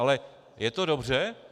Ale je to dobře?